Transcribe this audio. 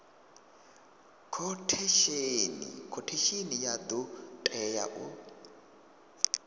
khothesheni ya do tea u